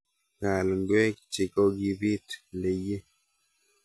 Kaal ngwek chikokibit leyee